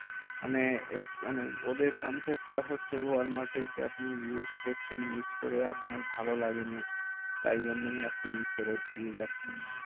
মানে it is মানে ওদের concept টা হচ্ছে ওয়ালমার্টের যে, আপনি use করছেন, use করে আপনার ভালো লাগেনি, তাই জন্যই আপনি ফেরত দিয়ে যাচ্ছেন। হম